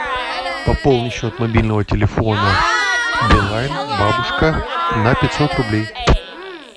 пополни счет мобильного телефона билайн бабушка на пятьсот рублей